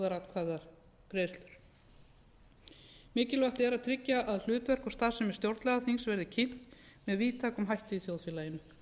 þjóðaratkvæðagreiðslur mikilvægt er að tryggja að hlutverk og starfsemi stjórnlagaþingsins verði kynnt með víðtækum hætti í þjóðfélaginu